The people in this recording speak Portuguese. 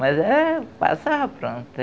Mas é passava, pronto.